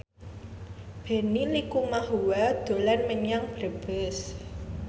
Benny Likumahua dolan menyang Brebes